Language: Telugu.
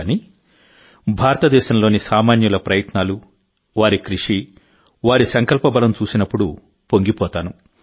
కానీ భారతదేశంలోని సామాన్యుల ప్రయత్నాలు వారి కృషి వారి సంకల్పబలం చూసినప్పుడుపొంగిపోతాను